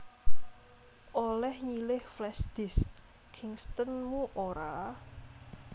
Oleh nyilih flashdisk Kingston mu ora